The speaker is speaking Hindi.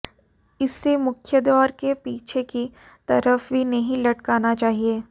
इसे मुख्यद्वार के पीछे की तरफ भी नहीं लटकाना चाहिए